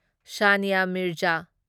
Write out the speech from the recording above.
Sania Mirza